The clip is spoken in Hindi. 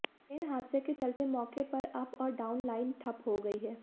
ट्रेन हादसे के चलते मौके पर अप और डाउन लाइन ठप हो गई है